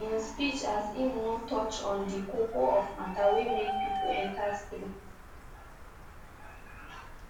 im speech as im no touch on di koko of mata wey make pipo enter streets